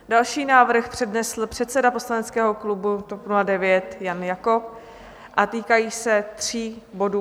Další návrh přednesl předseda poslaneckého klubu TOP 09 Jan Jakob a týkají se tří bodů.